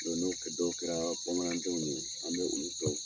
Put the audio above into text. n'o kɛ, dɔw kɛra bamanandenw ye an be olu dɔw